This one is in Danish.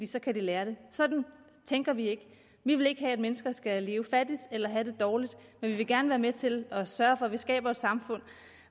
så kan de lære det sådan tænker vi ikke vi vil ikke have at mennesker skal leve fattigt eller have det dårligt men vi vil gerne være med til at sørge for at vi skaber et samfund